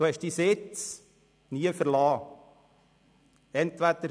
Sie haben Ihren Sitz nie verlassen.